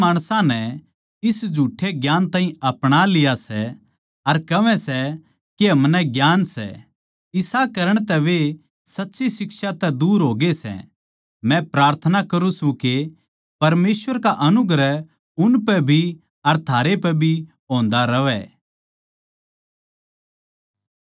कई माणसां नै इस ताहीं झुठ्ठे ज्ञान ताहीं अपणालिया सै अर कहवै सै के हमनै ज्ञान सै इसा करण तै वे सच्ची शिक्षा तै दूर होगे सै मै प्रार्थना करुँ सूं के परमेसवर का अनुग्रह उनपै भी अर थारे पै होन्दा रहवै